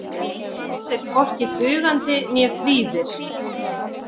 Fannst þeir hvorki dugandi né fríðir.